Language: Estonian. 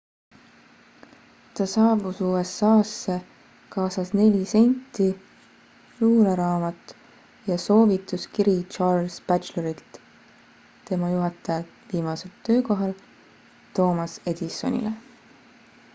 ta saabus usa-sse kaasas 4 senti luuleraamat ja soovotuskiri charles batchelorilt tema juhataja viimasel töökohal thomas edisonile